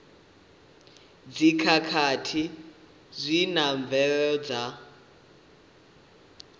dzikhakhathi zwi na mvelelo dza